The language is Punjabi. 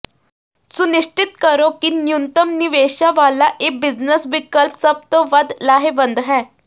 ਸੁਨਿਸ਼ਚਿਤ ਕਰੋ ਕਿ ਨਿਊਨਤਮ ਨਿਵੇਸ਼ਾਂ ਵਾਲਾ ਇਹ ਬਿਜਨਸ ਵਿਕਲਪ ਸਭ ਤੋਂ ਵੱਧ ਲਾਹੇਵੰਦ ਹੈ